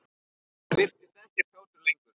Hann virtist ekkert kátur lengur.